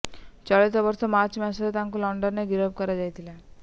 ଚଳିତ ବର୍ଷ ମାର୍ଚ୍ଚ ମାସରେ ତାଙ୍କୁ ଲଣ୍ଡନରେ ଗିରଫ କରାଯାଇଥିଲା